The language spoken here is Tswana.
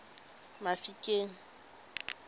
mafikeng